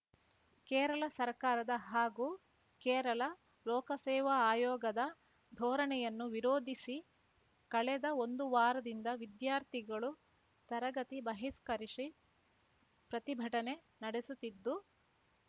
ಕೇರಳ ಸರ್ಕಾರದ ಹಾಗೂ ಕೇರಳ ಲೋಕಸೇವಾ ಆಯೋಗದ ಧೋರಣೆಯನ್ನು ವಿರೋಧಿಸಿ ಕಳೆದ ಒಂದು ವಾರದಿಂದ ವಿದ್ಯಾರ್ಥಿಗಳು ತರಗತಿ ಬಹಿಷ್ಕರಿಸಿ ಪ್ರತಿಭಟನೆ ನಡೆಸುತ್ತಿದ್ದು